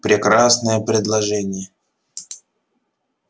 прекрасное предложение